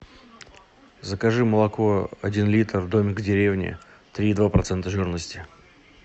закажи молоко один литр домик в деревне три и два процента жирности